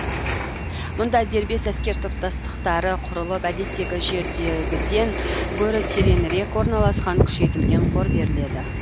мұнда дербес әскер топтастықтары құрылып әдеттегі жердегіден гөрі теренірек орналасқан күшейтілген қор беріледі